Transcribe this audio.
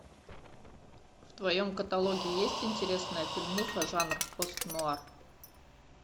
в твоем каталоге есть интересная фильмуха жанр пост нуар